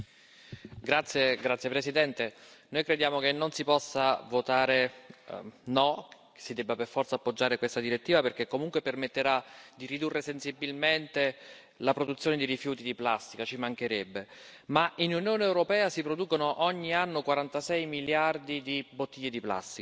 Signor Presidente, onorevoli colleghi, noi crediamo che non si possa votare no, che si debba per forza appoggiare questa direttiva perché comunque permetterà di ridurre sensibilmente la produzione di rifiuti di plastica, ci mancherebbe. Tuttavia nell'Unione europea si producono ogni anno 46 miliardi di bottiglie di plastica